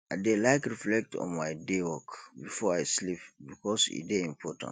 i dey like reflect on my day work before i sleep bikos e dey important